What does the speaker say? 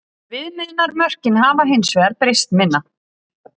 Viðmiðunarmörkin hafa hins vegar breyst minna.